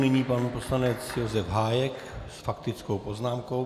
Nyní pan poslanec Josef Hájek s faktickou poznámkou.